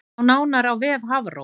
Sjá nánar á vef Hafró